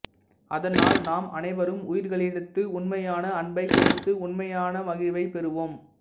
அதனால் நாம் அனைவரும் உயிர்கலிடத்து உன்மையான அன்பை கொடுத்து உன்மையான மகிழ்வை பெருவோம்